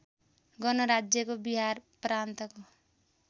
गणराज्यको बिहार प्रान्तको